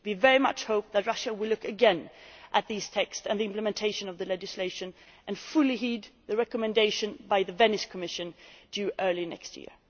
We very much hope that Russia will look again at these texts and the implementation of the legislation and fully heed the recommendation by the Venice Commission, due early next year.